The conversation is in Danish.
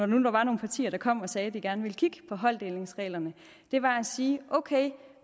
nu var nogle partier der kom og sagde at de gerne ville kigge på holddelingsreglerne var at sige okay